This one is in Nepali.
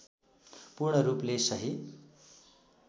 पूर्ण रूपले सही